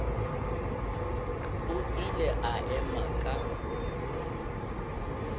o ile a ema ka